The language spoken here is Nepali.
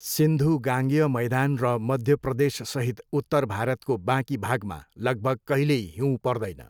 सिन्धु गाङ्गेय मैदान र मध्य प्रदेशसहित उत्तर भारतको बाँकी भागमा लगभग कहिल्यै हिउँ पर्दैन।